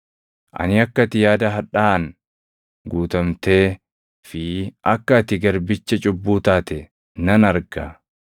Ani akka ati yaada hadhaaʼaan guutamtee fi akka ati garbicha cubbuu taate nan arga.”